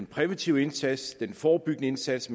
præventiv indsats en bedre forebyggende indsats